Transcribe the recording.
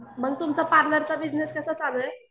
मग तुमचा पार्लरचा बिजनेस कसा चालू आहे?